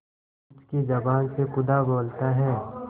पंच की जबान से खुदा बोलता है